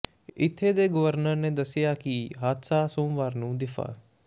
ਇੱਥੇ ਦੇ ਗਵਰਨਰ ਨੇ ਦੱਸਿਆ ਕਿ ਹਾਦਸਾ ਸੋਮਵਾਰ ਨੂੰ ਦਿਫਾ